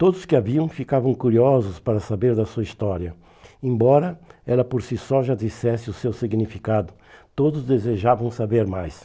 Todos que a viam ficavam curiosos para saber da sua história, embora ela por si só já dissesse o seu significado, todos desejavam saber mais.